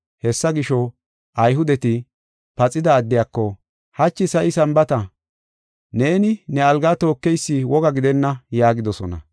Hessa gisho, Ayhudeti paxida addiyako, “Hachi sa7i Sambaata; neeni ne algaa tookeysi woga gidenna” yaagidosona.